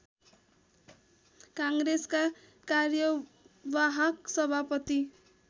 काङ्ग्रेसका कार्यवाहक सभापति